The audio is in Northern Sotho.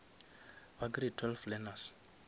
ba grade twelve learners